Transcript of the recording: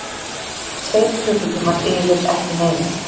Tveir klukkutímar yfir ekki neinu.